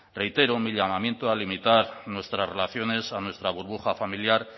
reitero mi llamamiento a limitar nuestras relaciones a nuestra burbuja familiar